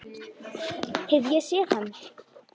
Hef ég séð hann?